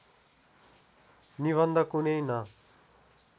निबन्ध कुनै न